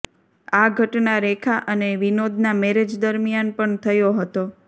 આ ઘટના રેખા અને વિનોદના મેરેજ દરમિયાન પણ થયો હતો